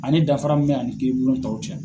Ani dafara min bɛ ani kiiribulon tɔw cɛ.